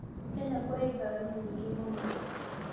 Kenya kũrĩ ngari nyĩngĩ mũno